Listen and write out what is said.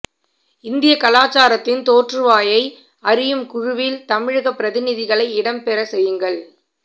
இந்திய கலாசாரத்தின் தோற்றுவாயை அறியும் குழுவில் தமிழகப் பிரதிநிதிகளை இடம்பெறச் செய்யுங்கள்